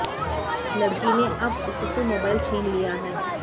लड़की ने अब उससे मोबाइल छीन लिया है